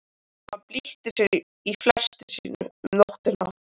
Hann bylti sér í fleti sínu um nóttina.